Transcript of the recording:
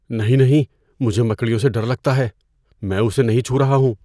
نہیں نہیں! مجھے مکڑیوں سے ڈر لگتا ہے۔ میں اسے نہیں چھو رہا ہوں۔